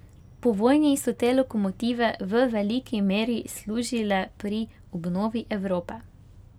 Po vojni so te lokomotive v veliki meri služile pri obnovi Evrope.